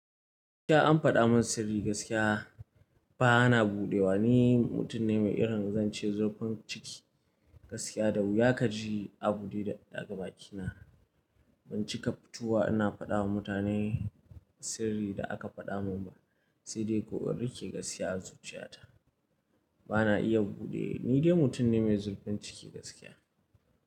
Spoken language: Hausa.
Da an faɗa min sirri gaskiya ba na buɗewa. Ni mutum ne mai irin, zan ce zurfin ciki gaskiya da wuya ka ji a buɗe da ga baki na. Banci ka fitowa ina faɗawa mutane sirrin da aka faɗa min ba, sai dai ko in riƙe gaskiya a zuciyata. Ba na iya buɗe, ni dai mutum ne mai zurfin ciki gaskiya.